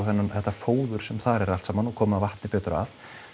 þetta fóður sem þar er allt saman og koma vatni betur að